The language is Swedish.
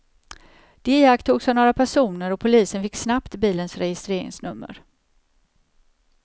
De iakttogs av några personer och polisen fick snabbt bilens registreringsnummer.